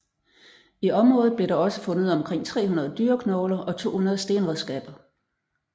I området blev der også fundet omkring 300 dyreknogler og 200 stenredskaber